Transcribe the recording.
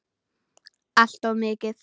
Alltof mikið.